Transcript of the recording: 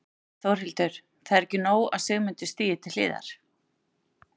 Þórhildur: Það er ekki nóg að Sigmundur stígi til hliðar?